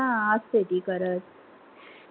हा असते ती करत